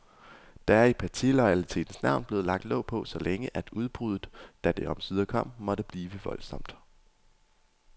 Der er i partiloyalitetens navn blevet lagt låg på så længe, at udbruddet, da det omsider kom, måtte blive voldsomt.